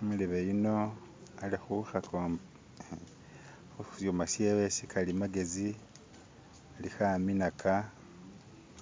umulebe yuno ali huhakombe hushuma shewe sikalimagezi aliho aminaka